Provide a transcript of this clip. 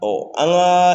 an ka